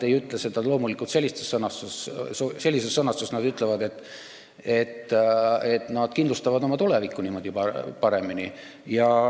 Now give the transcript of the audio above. Ei, loomulikult nad ei ütle seda sellises sõnastuses, nad ütlevad, et nad kindlustavad oma tulevikku niimoodi paremini.